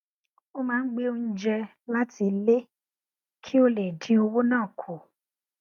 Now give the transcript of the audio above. ó máa ń gbé oúnjẹ láti ilé kí ó lè dín owó ná kù